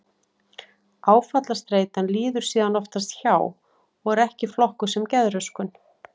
Áfallastreitan líður síðan oftast hjá og er ekki flokkuð sem geðröskun.